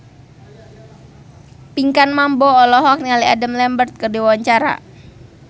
Pinkan Mambo olohok ningali Adam Lambert keur diwawancara